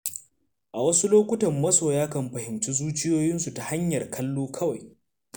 A wasu lokutan masoya kan fahimci zuciyoyinsu ta hanyar kallo kawai.